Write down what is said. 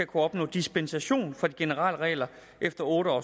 kunne opnå dispensation fra de generelle regler efter otte år